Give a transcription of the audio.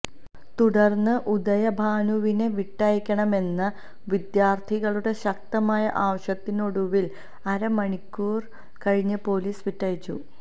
തുടര്ന്ന് ഉദയഭാനുവിനെ വിട്ടയക്കണമെന്ന വിദ്യാര്ഥികളുടെ ശക്തമായ ആവശ്യത്തിനൊടുവില് അരമണിക്കര് കഴിഞ്ഞ് പൊലീസ് വിട്ടയച്ചു